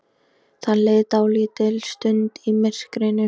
Það leið dálítil stund í myrkrinu.